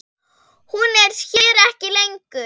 Hún er hér ekki lengur.